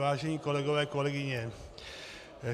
Vážení kolegové, kolegyně.